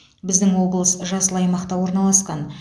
біздің облыс жасыл аймақта орналасқан